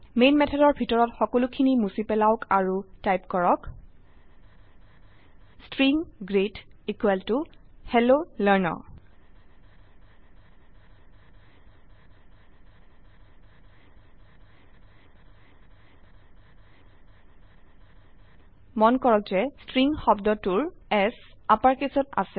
man মেথডৰ ভিতৰত সকলোখিনি মুছি পেলাওক আৰু টাইপ কৰক string greet equal to hello learner মন কৰক যে ষ্ট্ৰিং শব্দটোৰ S আপাৰকেচত আছে